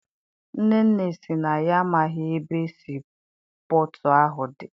Nnenne sị na ya amaghị ebe sii pọtụ ahụ dị.